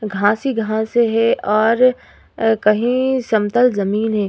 घास ही घास है और कहीं समतल जमीन है।